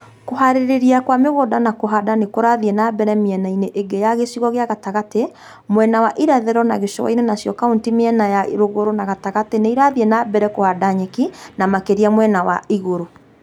Kuhariria kwa migunda na ku͂handa ni ku͂rathii͂ na mbere miena-ini͂ ingi ya gi͂cigo ki͂a gatagati͂, mwena wa irathi͂ro na gi͂cu͂a-ini͂ nacio kaunti miena ya ru͂gu͂ru͂ na gatagati͂ ni͂ irathii͂ na mbere na ku͂handa nyeki, na maki͂ria mwena wa igu͂ru͂.